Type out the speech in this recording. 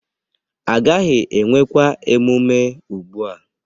Agaghị enwekwa emume ugbu a